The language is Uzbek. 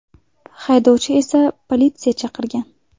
Haydovchi esa politsiya chaqirgan.